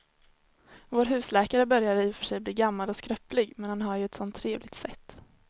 Vår husläkare börjar i och för sig bli gammal och skröplig, men han har ju ett sådant trevligt sätt!